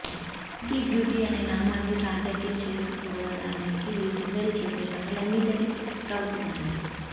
Milky beauty అనే నామాన్ని సార్దక్యం చేసుకోవడానకి ఈ సుందరి చేసే పనులన్నీ తెగ క్లిక్కవుతాయి